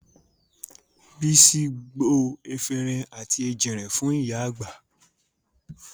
Bísí gbo efinrin àti èjìrìn fún ìyá àgbà